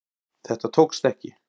Þetta tókst ekki